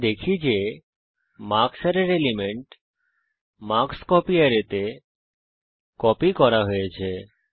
আমরা দেখি যে মার্কস অ্যারের এলিমেন্ট মার্কস্কোপি অ্যারেতে কপি করা হয়েছে